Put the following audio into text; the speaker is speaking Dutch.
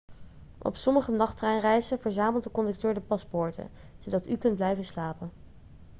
op sommige nachttreinreizen verzamelt de conducteur de paspoorten zodat u kunt blijven slapen